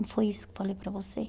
Não foi isso que eu falei para você?